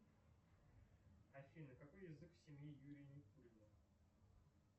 афина какой язык в семье юрия никулина